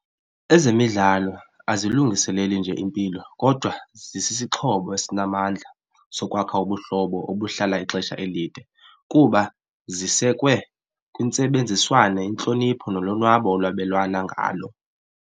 Ezemidlalo azilungiseleli nje impilo kodwa zisisixhobo esinamandla sokwakha ubuhlobo obuhlala ixesha elide kuba zisekwe kwintsebenziswano, intlonipho nolonwabo olwabelwana ngalo.